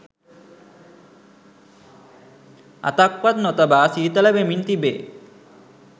අතක්වත් නොතබා සීතල වෙමින් තිබේ